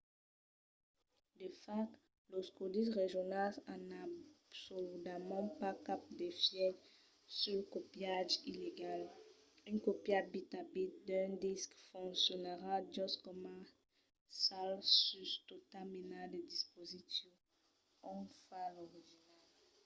de fach los còdis regionals an absoludament pas cap d'efièch sul copiatge illegal; una còpia bit a bit d'un disc foncionarà just coma cal sus tota mena de dispositiu ont o fa l'original